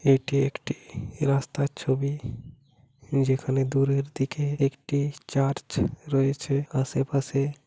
এটি একটি রাস্তার ছবি যেখানে দূরের দিকে একটি চার্চ রয়েছে আশেপাশে--